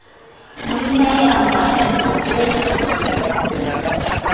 monnae a mo atametsa ho